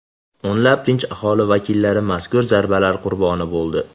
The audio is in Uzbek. O‘nlab tinch aholi vakillari mazkur zarbalar qurboni bo‘ldi.